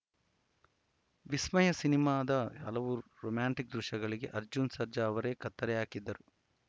ವಿಸ್ಮಯ ಸಿನಿಮಾದ ಹಲವು ರೊಮ್ಯಾಂಟಿಕ್‌ ದೃಶ್ಯಗಳಿಗೆ ಅರ್ಜುನ್‌ ಸರ್ಜಾ ಅವರೇ ಕತ್ತರಿ ಹಾಕಿದ್ದರು